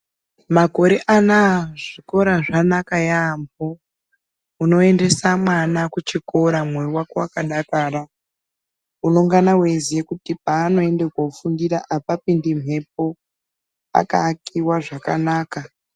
Makore anaa kuzvikora zvanaka yambo unoendesa mwana kuchikora moyo wakadakara unongana weiziya kuti paa noenda kunofundira hapapindi mhepo pakaakiwa zvakanaka.